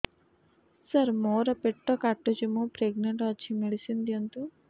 ସାର ମୋର ପେଟ କାଟୁଚି ମୁ ପ୍ରେଗନାଂଟ ଅଛି ମେଡିସିନ ଦିଅନ୍ତୁ